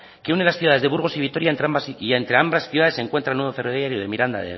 que une las ciudades de burgos y vitoria y entre ambas ciudades se encuentra el nudo ferroviario de miranda